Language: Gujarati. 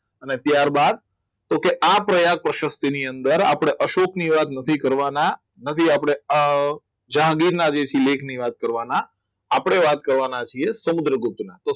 અને ત્યારબાદ તો કે આ પ્રયાગ પ્રશક્તિ ની અંદર આપણે અશોક ની વાત નથી કરવાના નથી આપણે અ જાગીરના જે સિલેબ ની વાત કરવાના આપણે વાત કરવાના છીએ સમુદ્રગુપ્ત